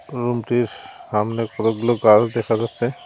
Showroom -টির সামনে কতগুলো গাস দেখা যাচ্ছে।